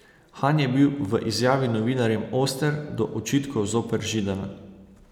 Han je bil v izjavi novinarjem oster do očitkov zoper Židana.